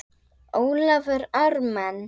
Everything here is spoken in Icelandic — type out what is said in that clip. Ólafur Ármann.